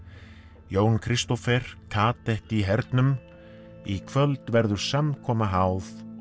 Jón Kristófer í hernum í kvöld verður samkoma háð og